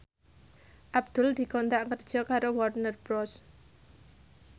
Abdul dikontrak kerja karo Warner Bros